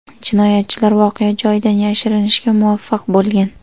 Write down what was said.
Jinoyatchilar voqea joyidan yashirinishga muvaffaq bo‘lgan.